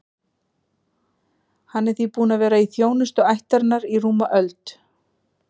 Hann er því búinn að vera í þjónustu ættarinnar í rúma öld.